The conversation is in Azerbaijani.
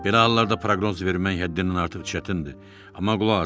Belə hallarda proqnoz vermək həddindən artıq çətindir, amma qulaq asın.